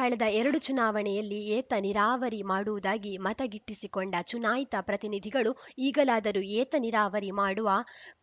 ಕಳೆದ ಎರಡು ಚುನಾವಣೆಯಲ್ಲಿ ಏತ ನೀರಾವರಿ ಮಾಡುವುದಾಗಿ ಮತ ಗಿಟ್ಟಿಸಿಕೊಂಡ ಚುನಾಯಿತ ಪ್ರತಿನಿಧಿಗಳು ಈಗಲಾದರೂ ಏತ ನೀರಾವರಿ ಮಾಡುವ